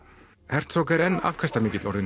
herzog er enn afkastamikill orðinn